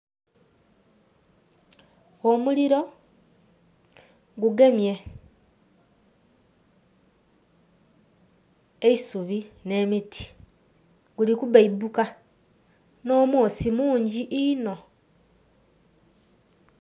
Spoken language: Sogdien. Omuliro gugemye eisubi nh'emiti. Guli kubeipuka, nh'omwoosi munji inho.